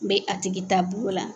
bɛ a tigi taabolo la.